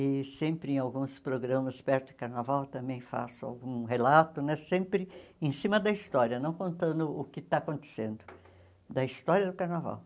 e sempre em alguns programas perto do Carnaval também faço algum relato né, sempre em cima da história, não contando o que está acontecendo, da história do Carnaval.